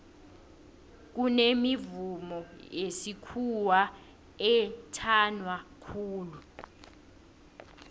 kunemivumo yesikhuwa ethanwa khulu